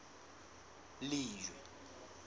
lejwe